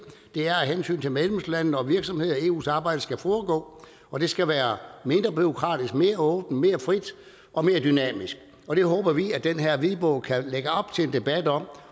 det er af hensyn til medlemslandene og virksomhederne at eus arbejde skal foregå og det skal være mindre bureaukratisk mere åbent mere frit og mere dynamisk og det håber vi at den her hvidbog kan lægge op til en debat om